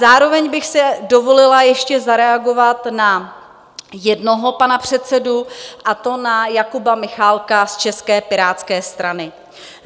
Zároveň bych si dovolila ještě zareagovat na jednoho pana předsedu, a to na Jakuba Michálka z České pirátské strany.